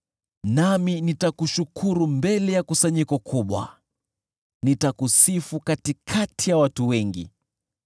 Nami nitakushukuru mbele ya kusanyiko kubwa, nitakusifu katikati ya watu wengi.